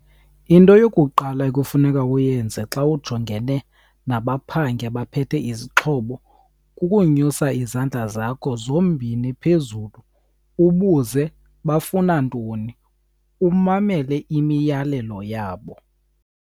Into yokuqala ekufuneka uyenze xa ujongene nabaphangi abaphethe izixhobo kukonyusa izandla zakho zombini phezulu ubuze bafuna ntoni, umamele imiyalelo yabo.